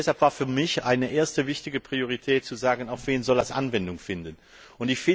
Deshalb war für mich eine erste wichtige Priorität zu sagen, auf wen das Anwendung finden soll.